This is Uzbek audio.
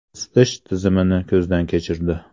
Isitish tizimini ko‘zdan kechirdi.